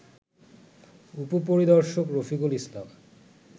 উপপরিদর্শক রফিকুল ইসলাম